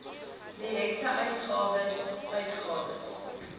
direkte uitgawes uitgawes